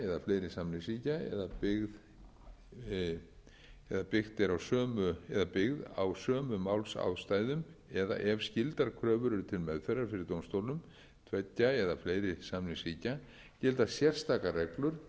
tveggja eða fleiri samningsríkja eða byggð á sömu málsástæðum eða ef skyldar kröfur eru til meðferðar fyrir dómstólum tveggja eða fleiri samningsríkja gilda sérstakar reglur sem